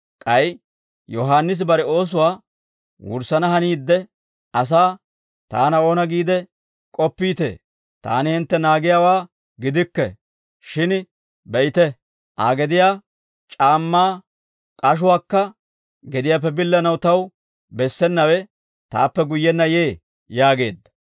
K'ay Yohaannisi bare oosuwaa wurssana haniidde asaa, ‹Taana oona giide k'oppiitee? Taani hintte naagiyaawaa gidikke; shin be'ite, Aa gediyaa c'aammaa k'ashuwaakka gediyaappe billanaw taw bessenawe taappe guyyenna yee› yaageedda.